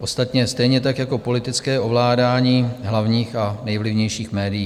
Ostatně stejně tak jako politické ovládání hlavních a nejvlivnějších médií.